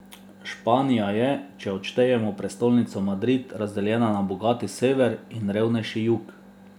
Španija je, če odštejemo prestolnico Madrid, razdeljena na bogati sever in revnejši jug.